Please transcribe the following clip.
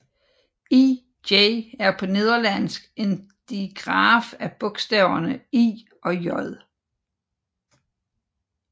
Ĳ er på nederlandsk en digraf af bogstaverne I og J